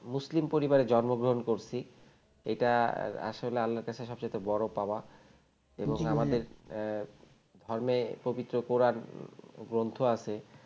মুসলিম পরিবারে জন্মগ্রহণ করেছি এটা আসলে আল্লাহর কাছে সব চাইতে বড় পাওয়া এবং আমাদের জি ভাইয়া ধর্মে পবিত্র কোরান গ্রন্থ আছে